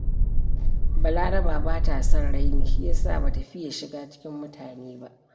Balaraba ba ta son raini, shi ya sa ba ta fiya shiga cikin mutane ba.